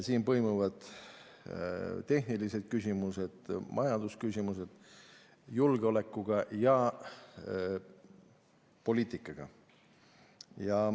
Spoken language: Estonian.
Siin põimuvad tehnilised küsimused, samuti majandusküsimused julgeolekuga ja poliitikaga.